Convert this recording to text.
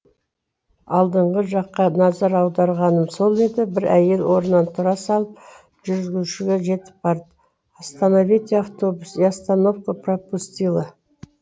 алдыңғы жаққа назар аударғаным сол еді бір әйел орнынан тұра салып жүргізушіге жетіп барды остоновите автобус я остановку пропустила